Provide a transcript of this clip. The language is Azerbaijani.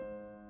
Kim?